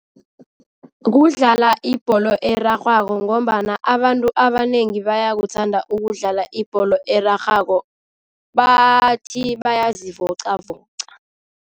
Kudlala ibholo erarhwako ngombana abantu abanengi bayakuthanda ukudlala ibholo erarhwako, bathi bayazivoqavoqa.